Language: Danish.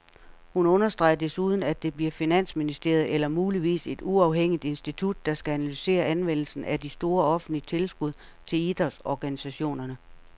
Hun understreger desuden, at det bliver finansministeriet, eller muligvis et uafhængigt institut, der skal analysere anvendelsen af de store offentlige tilskud til idrætsorganisationerne.